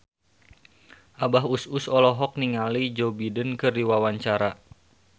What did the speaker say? Abah Us Us olohok ningali Joe Biden keur diwawancara